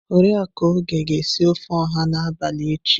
Oriakụ Oge ga-esi ofe oha n'abalị echi.